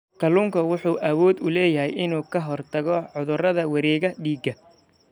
Kalluunku wuxuu awood u leeyahay inuu ka hortago cudurrada wareegga dhiigga.